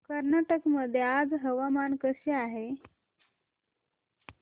कर्नाटक मध्ये आज हवामान कसे आहे